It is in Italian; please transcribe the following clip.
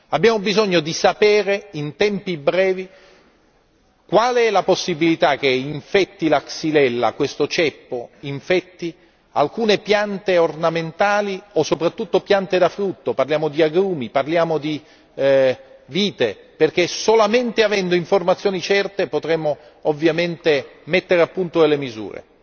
Abbiamo bisogno di sapere in tempi brevi qual è la possibilità che la Xylella, questo ceppo infetti alcune piante ornamentali o soprattutto piante da frutto, parliamo di agrumi, parliamo di vite, perché solamente avendo informazioni certe potremo ovviamente mettere a punto delle misure.